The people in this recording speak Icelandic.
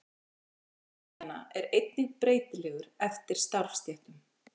Launamunur kynjanna er einnig breytilegur eftir starfsstéttum.